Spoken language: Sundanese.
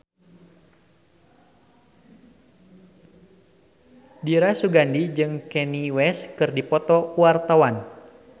Dira Sugandi jeung Kanye West keur dipoto ku wartawan